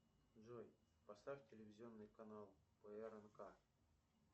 джой поставь телевизионный канал прнк